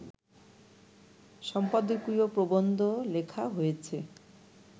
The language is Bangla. সম্পাদকীয় প্রবন্ধ লেখা হয়েছে